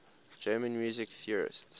german music theorists